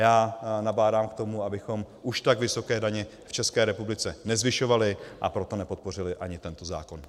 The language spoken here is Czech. Já nabádám k tomu, abychom už tak vysoké daně v České republice nezvyšovali, a proto nepodpořili ani tento zákon.